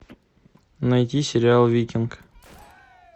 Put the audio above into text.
найди сериал викинг